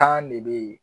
ne bɛ yen